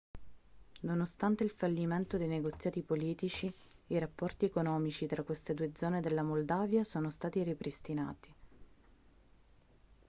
nonostante il fallimento dei negoziati politici i rapporti economici tra queste due zone della moldavia sono stati ripristinati